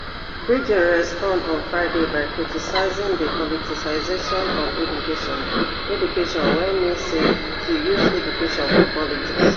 beijing respond on friday by criticising di politicisation of education education wey mean say to use education for politics